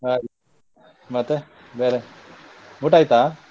ಆಯ್ತು ಮತ್ತೆ ಬೇರೆ ಊಟ ಆಯ್ತಾ?